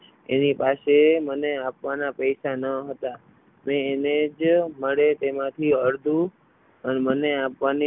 એની પાસે મને આપવાના પૈસા ન હતા. મેં એને જે મળે એમાંથી અડધું પણ મને આપવાની.